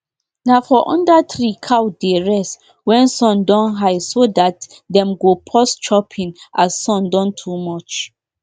we all agree say make nobody burn bush near the field um wey everyone dey share so the grass no um grass no um go spoil.